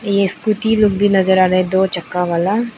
Scooty लोग भी नजर आ रहे है दो चक्का वाला।